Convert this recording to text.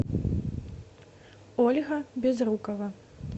ольга безрукова